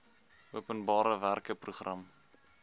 openbare werke program